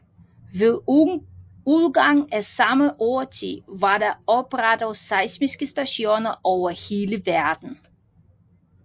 Ved udgangen af samme årti var der oprettet seismiske stationer over hele verden